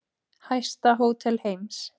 Hæsta hótel heims